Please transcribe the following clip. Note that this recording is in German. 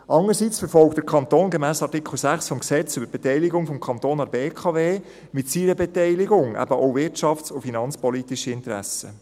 Andererseits verfolgt der Kanton gemäss Artikel 6 BKWG mit seiner Beteiligung eben auch wirtschafts- und finanzpolitische Interessen.